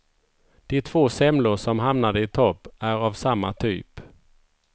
De två semlor som hamnade i topp är av samma typ.